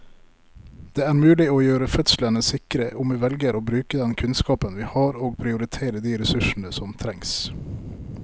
Det er mulig å gjøre fødslene sikre om vi velger å bruke den kunnskapen vi har og prioritere de ressursene som trengs.